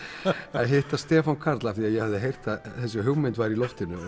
að hitta Stefán Karl því ég hafði heyrt að þessi hugmynd væri í loftinu